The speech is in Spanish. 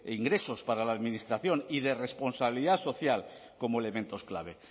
ingresos para la administración y de responsabilidad social como elementos clave